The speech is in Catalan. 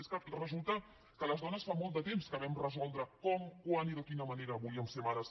és que resulta que les dones fa molt de temps que vam resoldre com quan i de quina manera volíem ser mares